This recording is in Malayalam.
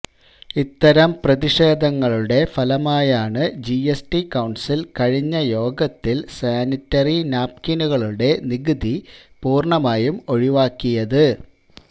ഇത്തരം പ്രതിഷേധങ്ങളുടെ ഫലമായാണ് ജിഎസ്ടി കൌണ്സില് കഴിഞ്ഞ യോഗത്തില് സാനിട്ടറി നാപ്കിനുകളുടെ നികുതി പൂര്ണ്ണമായും ഒഴിവാക്കിയത്